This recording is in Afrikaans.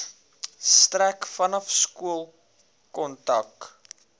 strek vanaf skoolkontak